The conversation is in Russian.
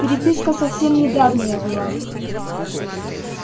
переписка совсем недавняя была